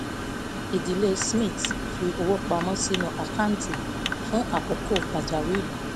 ìdílé smith fi owó pamọ́ sínú àkáǹtì fún àkókò pàjáwìrì